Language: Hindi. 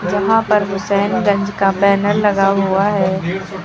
यहां पर हुसैनगंज का बैनर लगा हुआ है।